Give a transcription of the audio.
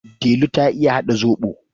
Delu ta iya haɗa zaɓo.